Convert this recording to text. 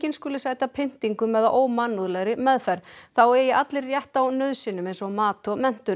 skuli sæta pyntingum eða ómannúðlegri meðferð þá eigi allir rétt á nauðsynjum eins og mat og menntun